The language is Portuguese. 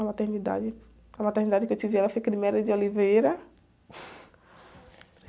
A maternidade, a maternidade que eu tive ela foi.